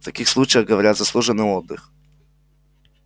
в таких случаях говорят заслуженный отдых